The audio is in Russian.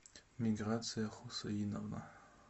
миграция хусаиновна